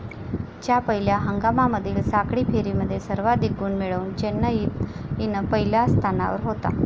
च्या पहिल्या हंगामामधील साखळी फेरीमध्ये सर्वाधिक गुण मिळवून चेन्नईन पहिल्या स्थानावर होता.